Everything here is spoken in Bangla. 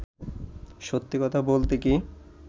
সত্যি কথা বলতে কী